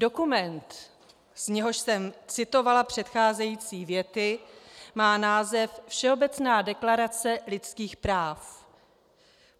Dokument, z něhož jsem citovala předcházející věty, má název Všeobecná deklarace lidských práv.